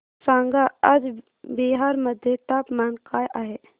सांगा आज बिहार मध्ये तापमान काय आहे